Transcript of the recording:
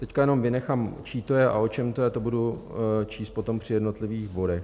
Teď jenom vynechám, čí to je a o čem to je, to budu číst potom při jednotlivých bodech.